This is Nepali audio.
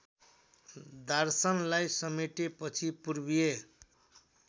दार्शनलाई समेटेपछि पूर्वीय